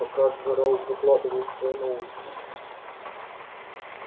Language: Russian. пока джералд выкладывал свои новости